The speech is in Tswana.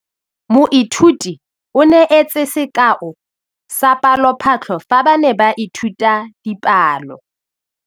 Moithuti o neetse sekaô sa palophatlo fa ba ne ba ithuta dipalo.